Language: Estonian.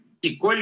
Kes see isik oli?